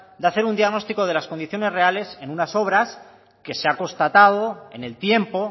de hacer un diagnóstico de las condiciones reales en una sobras que se ha constatado en el tiempo